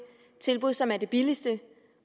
tilbud som er det billigste